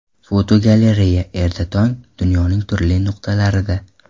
Fotogalereya: Erta tong dunyoning turli nuqtalarida.